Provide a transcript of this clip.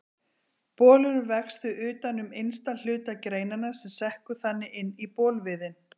Bolurinn vex því utan um innsta hluta greinanna sem sekkur þannig inn í bolviðinn.